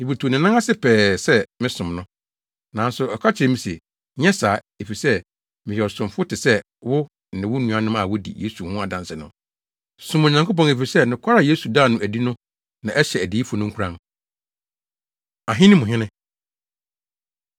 Mibutuw ne nan ase pɛɛ sɛ mesom no. Nanso ɔka kyerɛɛ me se, “Nyɛ saa, efisɛ meyɛ ɔsomfo te sɛ wo ne wo nuanom a wodi Yesu ho adanse no. Som Onyankopɔn efisɛ nokware a Yesu daa no adi no na ɛhyɛ adiyifo no nkuran.” Ahene Mu Hene